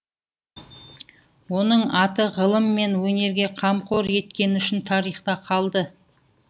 оның аты ғылым мен өнерге қамқор еткені үшін тарихта қалды